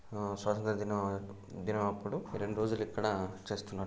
ఆ స్వాతంత్ర దినం దినం అప్పుడు ఈ రెండు రోజులు ఇక్కడ చేస్తున్నా.